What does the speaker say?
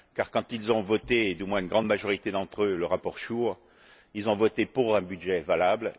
Car, quand ils ont voté du moins une grande majorité d'entre eux le rapport SURE, ils ont voté pour un budget valable.